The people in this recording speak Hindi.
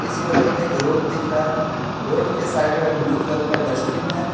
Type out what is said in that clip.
इस फोटो मे एक रोड दिख रहा है रोड के साइड में एक ब्लू कलर का डस्टबिन है।